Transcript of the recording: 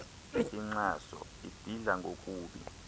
inxaso ibidla ngokubi